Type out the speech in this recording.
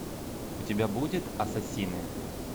у тебя будет ассасины